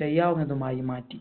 ചെയ്യാവുന്നതുമായി മാറ്റി